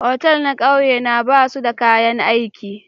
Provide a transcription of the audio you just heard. otal na kauye na ba su da kayan aiki.